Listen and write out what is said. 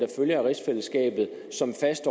slags